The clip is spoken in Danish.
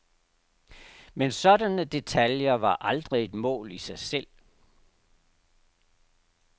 Men sådanne detaljer var aldrig et mål i sig selv.